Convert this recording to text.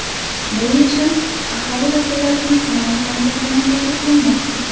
Bu yechim aholi vakillarini qanoatlantirgani ta’kidlanmoqda.